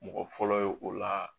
Mɔgɔ fɔlɔ ye o la